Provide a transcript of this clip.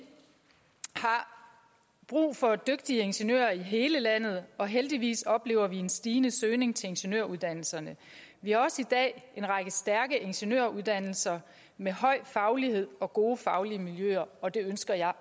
har brug for dygtige ingeniører i hele landet og heldigvis oplever man en stigende søgning til ingeniøruddannelserne vi har også i dag en række stærke ingeniøruddannelser med høj faglighed og gode faglige miljøer og det ønsker jeg